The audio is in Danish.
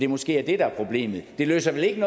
måske det der er problemet det løser vel ikke